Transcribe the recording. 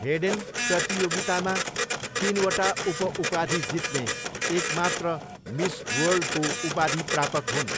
Hayden प्रतियोगितामा तिनवटा उप उपाधि जित्ने एक मात्र मिस वर्ल्डको उपाधि प्रापक हुन्।